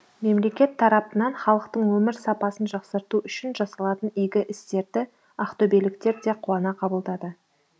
мемлекет тарапынан халықтың өмір сапасын жақсарту үшін жасалатын игі істерді ақтөбеліктер де қуана қабылдады